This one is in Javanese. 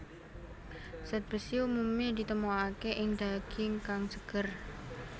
Zat besi umumé ditemokaké ing daging kang seger